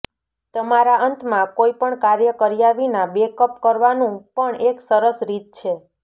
તમારા અંતમાં કોઈ પણ કાર્ય કર્યા વિના બેકઅપ કરવાનું પણ એક સરસ રીત છે